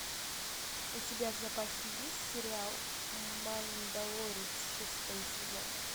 у тебя в запасе есть сериал мандалорец шестой сезон